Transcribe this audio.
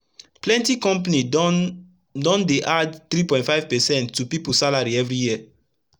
plenti compani don don dey add 3.5 percent to pipu salary everi year